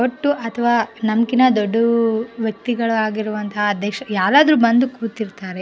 ಒಟ್ಟು ಅಥವಾ ನಮ್ ಕಿಂತ ದೊಡ್ದು ವ್ಯಕ್ತಿಗಳು ಆಗಿರುವಂಥ ಅಧ್ಯಕ್ಷರು ಯಾರಾದ್ರೂ ಬಂದು ಕೂತಿರ್ತಾರೆ --